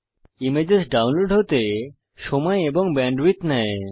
images download হতে সময় এবং ব্যান্ডউইথ নেয়